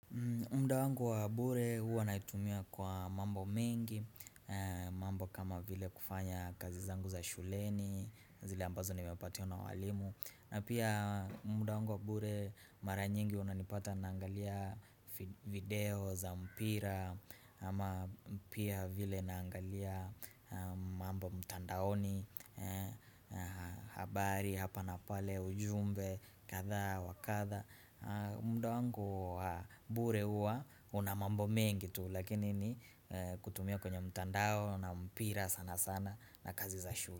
Muda wangu wa bure huwa naitumia kwa mambo mingi mambo kama vile kufanya kazi zangu za shuleni zile ambazo nimepatio na walimu na pia muda wangu wa bure mara nyingi unanipata naangalia fi video za mpira ama pia vile naangalia mambo mtandaoni habari hapa na pale, ujumbe, kadha wa kadha muda wangu mbure huwa una mambo mengi tu lakini ni kutumia kwenye mtandao na mpira sana sana na kazi za shule.